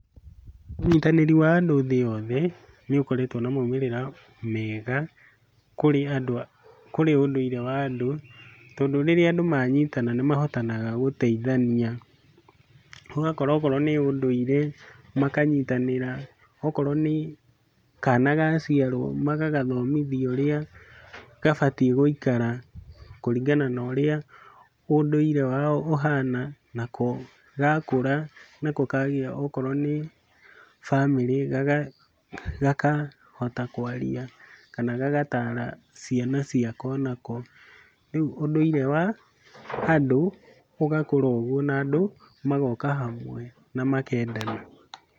Ũnyitanĩri wa andũ thĩ yothe nĩũkoretwo na maumĩrĩra mega kũrĩ andũ a kũrĩ ũndũire wa andũ, tondũ rĩrĩa andũ manyitana nĩmahotanaga gũteithania. Ũgakora okorwo nĩ ũndũire, makanyitanĩra. Okorwo nĩ kana gaciarwo, magagathomithia ũrĩa gabatiĩ gũikara kũringana na ũrĩa ũndũire wao ũhana, nako gakũra nako kagĩa okorwo nĩ bamĩrĩ, gakahota kwaria kana gagataara ciana ciako nako. Rĩu ũndũire wa andũ ũgakũra ũguo na andũ magoka hamwe na makendana.